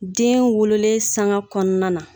Den wololen sanga kɔnɔna na.